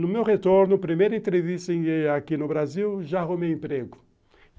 No meu retorno, primeira entrevista aqui no Brasil, já arrumei emprego.